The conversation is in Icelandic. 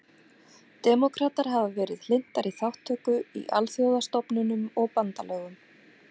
Demókratar hafa verið hlynntari þátttöku í alþjóðastofnunum og bandalögum.